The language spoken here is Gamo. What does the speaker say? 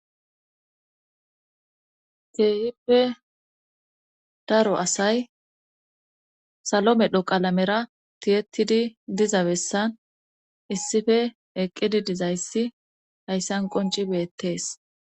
teehippe daro asay salo medho qalamera tiyetidi diza bessan issife eqqidi dizayssi hayssan qonci beettees